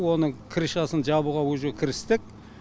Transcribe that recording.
оның крышасын жабуға уже кірістік